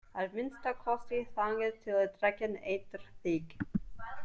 Að minnsta kosti þangað til drekinn étur þig.